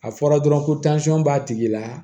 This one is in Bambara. A fɔra dɔrɔn ko b'a tigi la